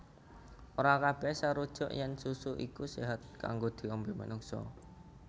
Ora kabèh sarujuk yèn susu iku séhat kanggo diombé manungsa